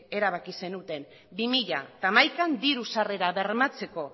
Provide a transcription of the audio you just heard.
erabaki zenuten bi mila hamaikan diru sarrera bermatzeko